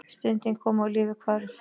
Stundin kom og lífið hvarf.